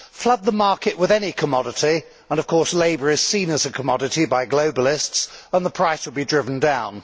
Flood the market with any commodity and of course labour is seen as a commodity by globalists and the price will be driven down.